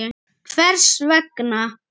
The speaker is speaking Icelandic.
Lára: Hvers vegna?